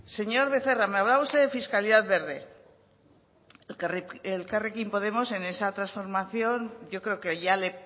señor becerra me hablaba usted de fiscalidad verde elkarrekin podemos en esa transformación yo creo que ya le